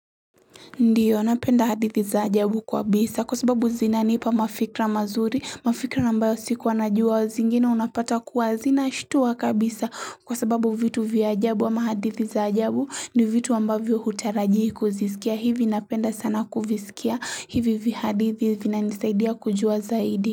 Ndio, napenda hadithi za ajabu kabisa kwa sababu zinanipa mafikra mazuri, mafikra ambayo sikuwanajua zingine unapata kuwa zinashtua kabisa kwa sababu vitu vya ajabu ama hadithi za ajabu ni vitu ambavyo hutarajii kuzisikia. Hivi napenda sana kuvisikia hivi vihadithi vinanisaidia kujua zaidi.